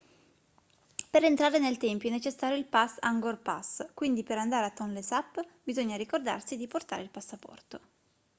per entrare nel tempio è necessario il pass angkor pass quindi per andare al tonlé sap bisogna ricordarsi di portare il passaporto